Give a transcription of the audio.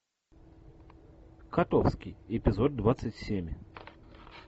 котовский эпизод двадцать семь